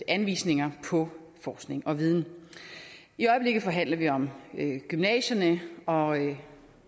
anvisninger på forskning og viden i øjeblikket forhandler vi om gymnasierne og